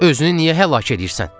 Özünü niyə həlak edirsən?